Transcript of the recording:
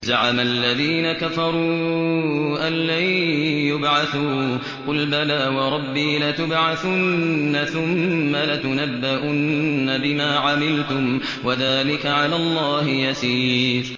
زَعَمَ الَّذِينَ كَفَرُوا أَن لَّن يُبْعَثُوا ۚ قُلْ بَلَىٰ وَرَبِّي لَتُبْعَثُنَّ ثُمَّ لَتُنَبَّؤُنَّ بِمَا عَمِلْتُمْ ۚ وَذَٰلِكَ عَلَى اللَّهِ يَسِيرٌ